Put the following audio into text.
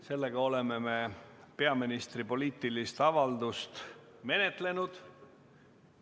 Sellega oleme me peaministri poliitilist avaldust menetlenud.